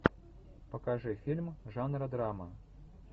покажи фильм жанра драма